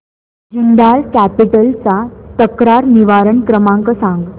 Jindal capital चा तक्रार निवारण क्रमांक सांग